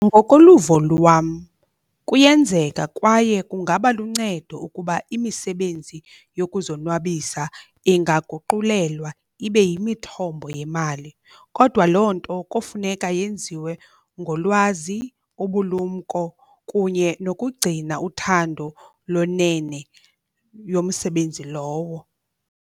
Ngokoluvo lwam kuyenzeka kwaye kungaba luncedo ukuba imisebenzi yokuzonwabisa ingaguqulelwa ibe yimithombo yemali, kodwa loo nto kofuneka yenziwe ngolwazi, ubulumko kunye nokugcina uthando lwenene yomsebenzi lowo.